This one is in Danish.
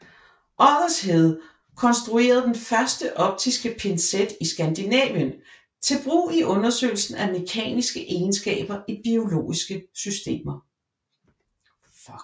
Oddershede konstruerede den første optiske pincet i Skandinavien til brug i undersøgelse af mekaniske egenskaber i biologiske systemer